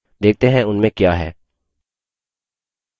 देखते हैं उनमें क्या है